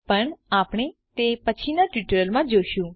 પણ આપણે તે પછીના ટ્યુટોરિયલ્સમાં જોશું